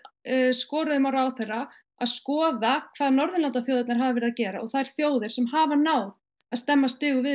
skoruðum á ráðherra að skoða hvað Norðurlandaþjóðirnar hafa verið að gera og þær þjóðir sem hafa náð að stemma stigum við